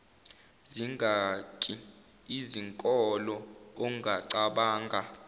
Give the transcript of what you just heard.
zingaki izinkolo ongacabanga